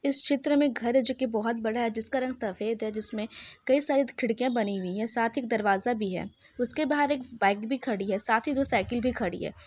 इस चित्र मे घर है जो की बहुत बड़ा है जिस का रंग सफेद है जिसमे कई सारी खिड़किया बनी हुई है साथ ही एक दरवाजा भी है उसके बाहर एक बाइक भी खड़ी है साथ ही दो साइकल भी खड़ी है।